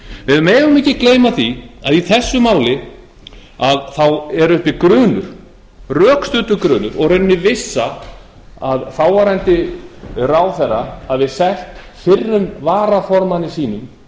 við megum ekki gleyma því að í þessu máli er uppi grunur rökstuddur grunur og í rauninni vissa að þáverandi ráðherra hafi selt fyrrum varaformanni sínum